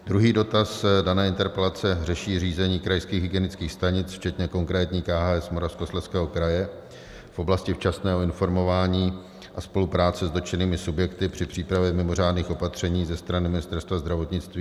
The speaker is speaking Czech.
Druhý dotaz dané interpelace řeší řízení krajských hygienických stanic včetně konkrétní KHS Moravskoslezského kraje v oblasti včasného informování a spolupráce s dotčenými subjekty při přípravě mimořádných opatření ze strany Ministerstva zdravotnictví.